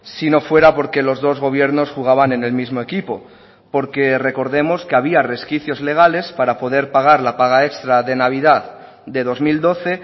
si no fuera porque los dos gobiernos jugaban en el mismo equipo porque recordemos que había resquicios legales para poder pagar la paga extra de navidad de dos mil doce